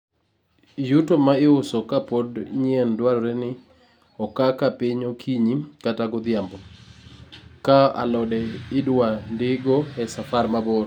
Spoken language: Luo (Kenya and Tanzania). yuto ma iuso ka pod nyien dwarore ni oka ka piny okinyi kata godhiambo( kaa alode idwa ndigo e safar mabor)